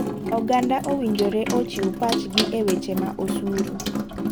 Oganda owinjore ochiw pach gi e weche ma osuru